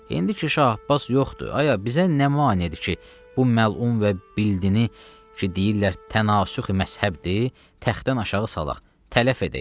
İndi ki, Şah Abbas yoxdur, ayə, bizə nə maneidir ki, bu məlun və bidini ki, deyirlər tənasüx məzhəbdir, təxtdən aşağı salaq, tələf edək.